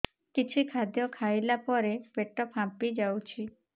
କିଛି ଖାଦ୍ୟ ଖାଇଲା ପରେ ପେଟ ଫାମ୍ପି ଯାଉଛି